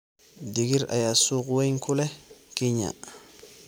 Digir ayaa suuq weyn ku leh Kenya.